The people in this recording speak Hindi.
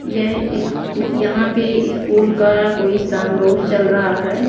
यह इस्कू यहां पे स्कूल का कोई सामरोह रोज चल रहा है।